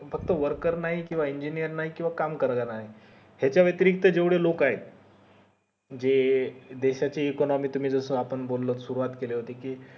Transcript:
फक्त worker नाही किव्हा engineer नाही किव्हा काम करणारे नाही याच्या वेतेरिक्त जेवढे लोक आहेत जे देशाची economic तुम्ही जस बोलो सुरुवात केली होती कि